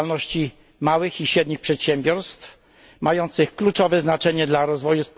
działalności małych i średnich przedsiębiorstw mających kluczowe znaczenie dla rozwoju